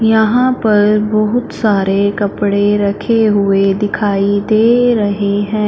यहां पर बहुत सारे कपड़े रखे हुए दिखाई दे रहे हैं।